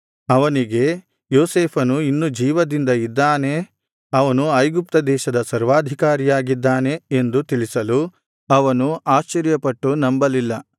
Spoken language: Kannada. ಅವನಿಗೆ ಯೋಸೇಫನು ಇನ್ನೂ ಜೀವದಿಂದ ಇದ್ದಾನೆ ಅವನು ಐಗುಪ್ತ ದೇಶದ ಸರ್ವಾಧಿಕಾರಿಯಾಗಿದ್ದಾನೆ ಎಂದು ತಿಳಿಸಲು ಅವನು ಆಶ್ಚರ್ಯಪಟ್ಟು ನಂಬಲಿಲ್ಲ